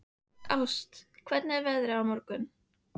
Ást, hvernig er veðrið á morgun?